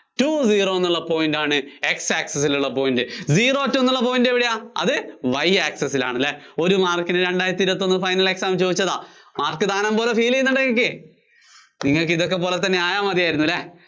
two zero എന്നുള്ള point ആണ് X access ല്‍ ഉള്ള point. Zero two എന്നുള്ള point എവിടെയാ? അത് Y access ല്‍ ആണ് അല്ലേ? ഒരു mark ന് രണ്ടായിരത്തി ഇരുപത്തിയൊന്ന് final exam ന് ചോദിച്ചതാ. mark ദാനം പോലെ feel ചെയ്യുന്നുണ്ടോ നിങ്ങള്‍ക്ക്?